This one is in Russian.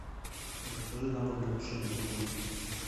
закажи набор для тушения куриный